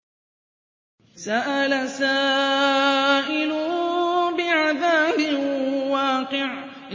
سَأَلَ سَائِلٌ بِعَذَابٍ وَاقِعٍ